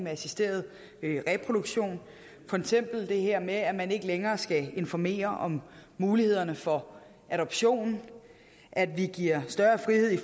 af assisteret reproduktion for eksempel er der det her med at man ikke længere skal informere om mulighederne for adoption og at vi giver større frihed